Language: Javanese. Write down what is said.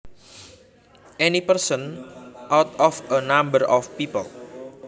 Any one person out of a number of people